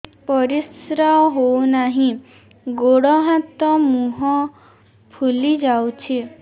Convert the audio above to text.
ପରିସ୍ରା ହଉ ନାହିଁ ଗୋଡ଼ ହାତ ମୁହଁ ଫୁଲି ଯାଉଛି